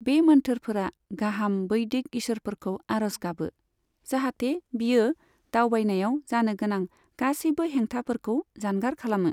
बे मोन्थोरफोरा गाहाम वैदिक ईसोरफोरखौ आर'ज गाबो, जाहाथे बियो दावबायनायाव जानो गोनां गासैबो हेंथाफोरखौ जानगार खालामो।